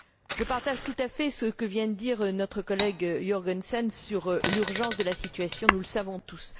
Je partage tout à fait ce que vient de dire notre collègue Jørgensen sur l'urgence de la situation, nous le savons tous.